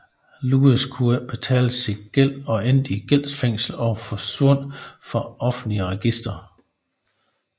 Lewis kunne ikke betale sin gæld og endte i gældsfængsel og forsvandt fra offentlige registre